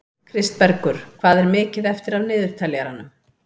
Kristbergur, hvað er mikið eftir af niðurteljaranum?